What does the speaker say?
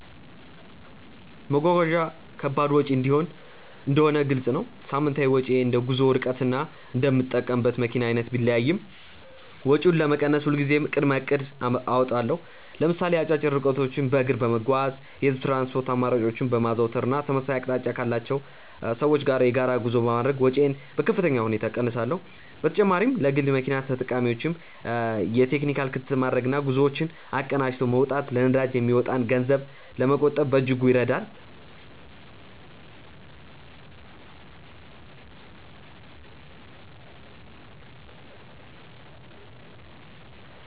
መጓጓዣ ከባድ ወጪ እንደሆነ ግልጽ ነው። ሳምንታዊ ወጪዬ እንደ ጉዞው ርቀትና እንደምጠቀምበት መኪና አይነት ቢለያይም፣ ወጪውን ለመቀነስ ሁልጊዜም ቅድመ እቅድ አወጣለሁ። ለምሳሌ አጫጭር ርቀቶችን በእግር በመጓዝ፣ የህዝብ ትራንስፖርት አማራጮችን በማዘውተር እና ተመሳሳይ አቅጣጫ ካላቸው ሰዎች ጋር የጋራ ጉዞ በማድረግ ወጪዬን በከፍተኛ ሁኔታ እቀንሳለሁ። በተጨማሪም ለግል መኪና ተጠቃሚዎች የቴክኒክ ክትትል ማድረግና ጉዞዎችን አቀናጅቶ መውጣት ለነዳጅ የሚወጣን ገንዘብ ለመቆጠብ በእጅጉ ይረዳል።